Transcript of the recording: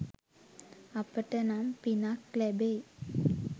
අපිට නම් පිනක් ලැබෙයි